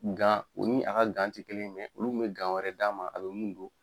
o ni a ka ti kelen ye olu be wɛrɛ d'a ma a be mun don.